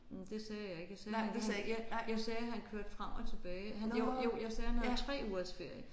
Men det sagde jeg ikke jeg sagde jeg jeg sagde han kørte frem og tilbage han jo jo jeg sagde han havde 3 ugers ferie